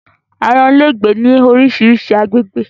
Ààyan lé gbe ni orisirisi àwọn àgbégbè